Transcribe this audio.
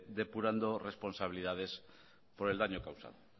depurando responsabilidades por el daño causado